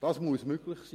Das muss möglich sein!